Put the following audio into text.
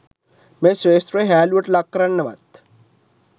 මේ ක්‍ෂේත්‍රය හෑල්ලුවට ලක්කරන්නවත්